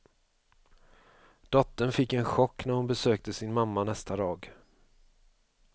Dottern fick en chock när hon besökte sin mamma nästa dag.